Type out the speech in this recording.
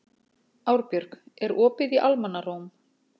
Árbjörg, er opið í Almannaróm?